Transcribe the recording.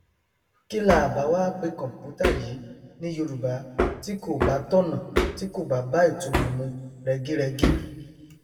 kí laà bá wá pe computer yìí ní yorùbá tí kò bá tọnà tí kò bá bá ìtunmọ mu rẹgírẹgí